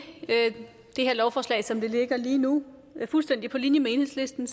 det her lovforslag som det ligger lige nu fuldstændig på linje med enhedslisten